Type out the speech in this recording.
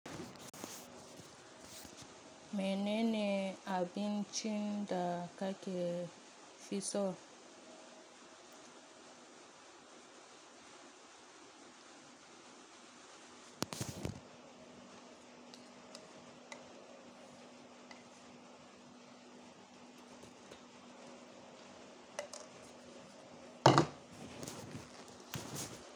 Mene ne abin cin da ka ke fi so?